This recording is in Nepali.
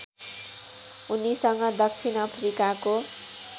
उनीसँग दक्षिण अफ्रिकाको